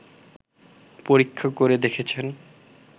পরীক্ষা করে দেখেছেন